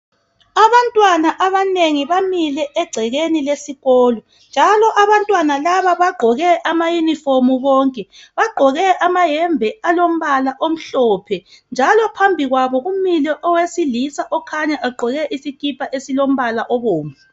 Abantwana abanengi bamile egcekeni lesikolo njalo abantwana laba bagqoke amayunifomu bonke. Bagqoke amayembe alombala omhlophe njalo phambi kwabo kumile owesilisa okhanya egqoke isikipa esilombala obomvu.